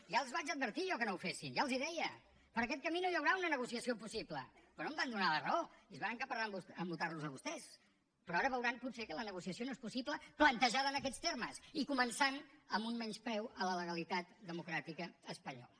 ja els vaig advertir jo que no ho fessin ja els ho deia per aquest camí no hi ha una negociació possible però no em van donar la raó i es van encaparrar a votarlos a vostès però ara veuran potser que la negociació no és possible plantejada en aquests termes i començant amb un menyspreu a la legalitat democràtica espanyola